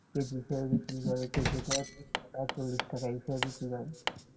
KG হিসেবে বিক্রি করে কেউ কেউ তো আবার চল্লিশ টাকা হিসেবে বিক্রি করে